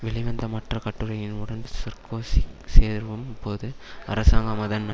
வெளிவந்த மற்ற கட்டுரையின் உடன் சர்க்கோசி சேரும்போது அரசாங்கம் அதன்